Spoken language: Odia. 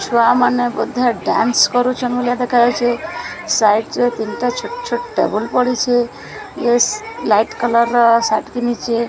ଛୁଆ ମାନେ ବୋଧେ ଡାନ୍ସ କରୁଛନ ପରି ଦେଖାଯାଉଛି ସାଇଡ୍ ରେ ତିନିଟା ଛୋଟ ଛୋଟ ଟେବୁଲ ପଡ଼ିଛି ମିସ ଲାଇଟ୍ କଲର୍ ର ସର୍ଟ ପିନ୍ଧିଛି।